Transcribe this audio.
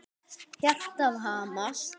Hjartað hamast.